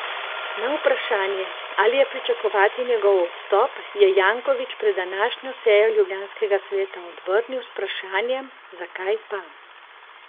Na vprašanje, ali je pričakovati njegov odstop, je Janković pred današnjo sejo ljubljanskega sveta odvrnil z vprašanjem, zakaj pa.